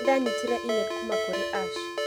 Nĩ ndanyitire e-mail kuuma kũrĩ Ash.